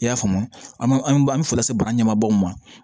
I y'a faamu an an bɛ foli lase bara ɲɛ ma baaw ma